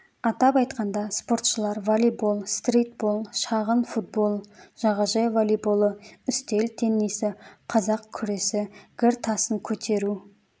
атап айтқанда спортшылар волейбол стритбол шағын футбол жағажай волейболы үстел теннисі қазақ күресі гір тасын көтеру